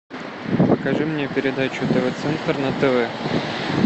покажи мне передачу тв центр на тв